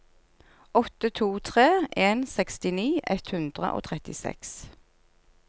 åtte to tre en sekstini ett hundre og trettiseks